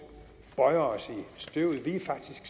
vi er faktisk